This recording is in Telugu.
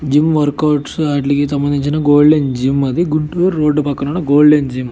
జిమ్ వర్క్ ఔట్స్ వాటికి సంబంధించిన గోల్డెన్ జిమ్ . అది గుంటూర్ రోడ్డు పక్కన ఉన్న గోల్డెన్ జిమ్ .